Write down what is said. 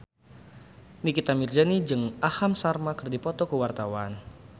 Nikita Mirzani jeung Aham Sharma keur dipoto ku wartawan